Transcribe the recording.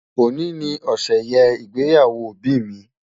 Ọ̀ní ni ọ̀ṣẹ̀yẹ ịgbẹ́yàwò ọbì mi.